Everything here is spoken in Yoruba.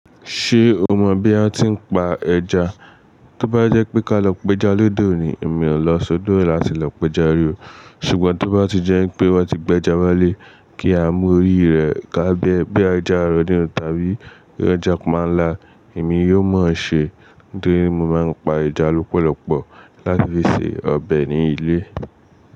Ṣé o mọ̀ bí a ti ń pa ẹja? Tí ó bá jẹ́ pé ká lọ péja lódo ní, èmi ò lọ sódò, láti lọ péja rí o. Ṣùgbọ́n tí ó bá ti jẹ́ pé wọ́n ti gbé ẹja wálé kí a mú orí rẹ̀ ká bẹ́ bí i ẹja aró ní oo tàbí bíi ẹja panla, èmi yóò mọ̀ ọ́n ṣe torí mo máa ń pa ẹja lọ́pọ̀lọpọ̀ láti fi se ọbẹ̀ ní ilé.